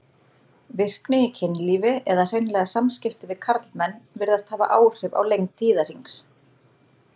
Virkni í kynlífi, eða hreinlega samskipti við karlmenn, virðast hafa áhrif á lengd tíðahrings.